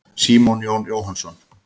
Símon Jón Jóhannsson.